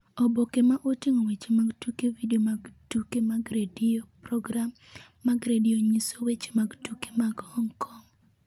Oboke ma oting’o weche mag tuke Vidio mag tuke mag redio Program mag redio nyiso weche mag tuke mag Hong Kong: